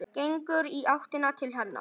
Gengur í áttina til hennar.